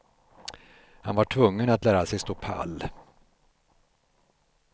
Han var tvungen att lära sig stå pall.